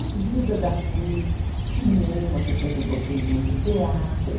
A vida daqui, cinema, que eu sempre gostei muito, teatro.